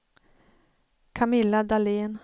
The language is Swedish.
Camilla Dahlén